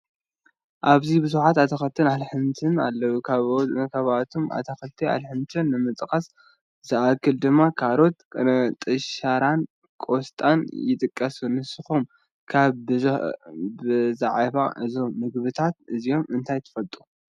ኣብዚ ብዙሓት ኣትክልትን ኣሕምልትን ኣለው፡፡ ካብኣቶም ኣትክልትን ኣሕምልትን ንምጥቃስ ዝኣክል ድማ ካሮት፣ ቅንጥሻራን ቆስጣን ይጥቀሱ፡፡ ንስኹም ከ ብዛዕባ እዞም ምግብታት እዚኦም እንታይ ትፈልጡ?